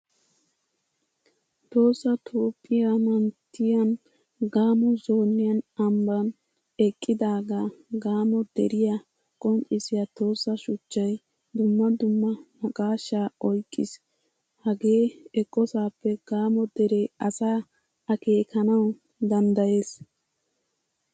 Tohossa toophphiyaa manttiyan gamo zooniyan ambban eqqidaga gamo deriyaa qonccisya tossa shuchchay dumma dumma naaqqashsha oyqqiis. Hagee eqqosappe gamo dere asa akekanawu danddayees.